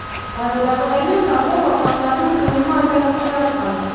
майлы дақылдар мен картоп алқаптарының көлемі айтарлықтай артқан